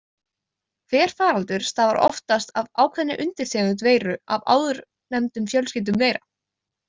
Hver faraldur stafar oftast af ákveðinni undirtegund veiru af áðurnefndum fjölskyldum veira.